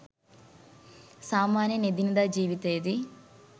සාමාන්‍යයෙන් එදිනෙදා ජීවිතයේදී